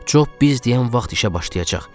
Cob biz deyən vaxt işə başlayacaq.